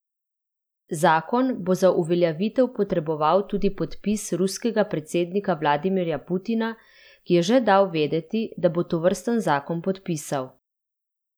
Zakon bo za uveljavitev potreboval tudi podpis ruskega predsednika Vladimirja Putina, ki je že dal vedeti, da bo tovrsten zakon podpisal.